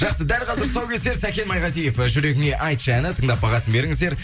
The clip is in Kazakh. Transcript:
жақсы дәл қазір тұсаукесер сәкен майғазиев і жүрегіңе айтшы әні тыңдап бағасын беріңіздер